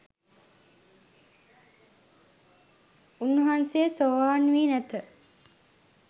උන්වහන්සේ සෝවාන් වී නැත